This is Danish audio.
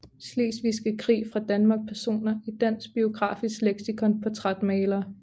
Slesvigske Krig fra Danmark Personer i Dansk Biografisk Leksikon Portrætmalere